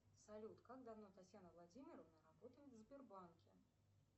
салют как давно татьяна владимировна работает в сбербанке